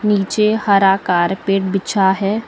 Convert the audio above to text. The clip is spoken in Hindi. नीचे हरा कारपेट बिछा है।